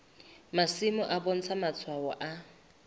masimo e bontsha matshwao a